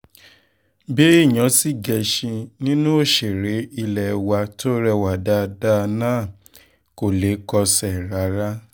béèyàn sì gẹṣin nínú òṣèré ilé wa tó rẹwà dáadáa náà kò lè kọsẹ̀ rárá